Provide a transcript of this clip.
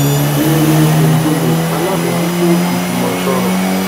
léonie ngolle alábòójútó ìjùmọsọrọ